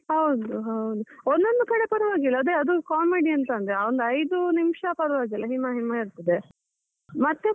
ಹೌದು ಹೌದು, ಒಂದೊಂದು ಕಡೆ ಪರವಾಗಿಲ್ಲ ಅದೆ ಅದು comedy ಎಂತ ಅಂದ್ರೆ ಐದು ನಿಮಿಷ ಪರವಾಗಿಲ್ಲ ಹಿಮ ಹಿಮ ಇರ್ತದೆ, ಮತ್ತೆ ಪುನ.